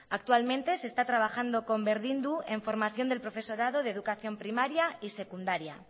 actualmente se está trabajando con berdindu en formación del profesorado de educación primaria y secundaria